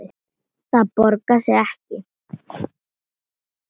Það borgar sig ekki.